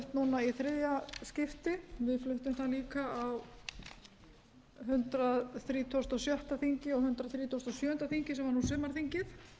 núna í þriðja skipti við fluttum það líka á hundrað þrítugasta og sjötta þingi og hundrað þrítugasta og sjöunda þingi sem var nú sumarþingið